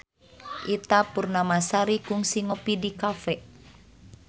Ita Purnamasari kungsi ngopi di cafe